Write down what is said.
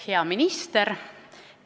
Hea minister!